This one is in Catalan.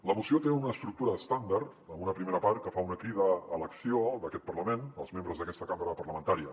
la moció té una estructura estàndard amb una primera part que fa una crida a l’acció d’aquest parlament dels membres d’aquesta cambra parlamentària